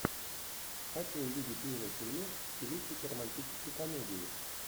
хочу увидеть милый фильмец в стилистике романтической комедии